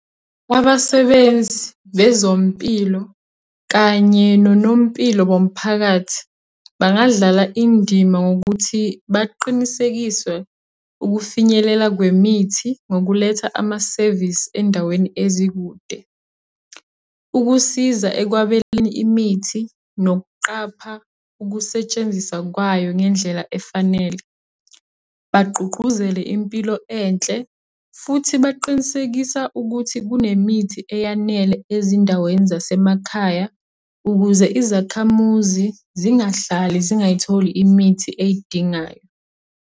Kwabasebenzi bezompilo, kanye nonompilo bomphakathi, bangadlala indima ngokuthi baqinisekiswe ukufinyelela kwemithi ngokuletha amasevisi endaweni ezikude. Ukusiza ekwabeleni imithi, nokuqapha ukusetshenziswa kwayo ngendlela efanele. Bagqugquzele impilo enhle, futhi baqinisekisa ukuthi kunemithi eyanele ezindaweni zasemakhaya ukuze izakhamuzi zingahlali zingay'tholi imithi ey'dingayo.